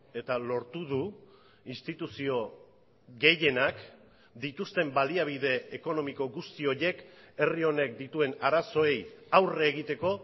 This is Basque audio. eta lortu du instituzio gehienak dituzten baliabide ekonomiko guzti horiek herri honek dituen arazoei aurre egiteko